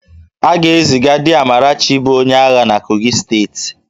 A ga-eziga di Amarachi bụ onye agha na Kogi steeti